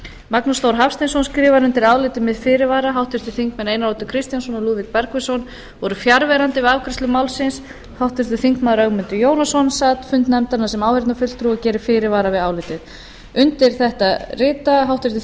magnús þór hafsteinsson skrifar undir álitið með fyrirvara háttvirtir þingmenn einar oddur kristjánsson og lúðvík bergvinsson voru fjarverandi við afgreiðslu málsins háttvirtur þingmaður ögmundur jónasson sat fund nefndarinnar sem áheyrnarfulltrúi og gerir fyrirvara við álitið undir þetta rita háttvirtir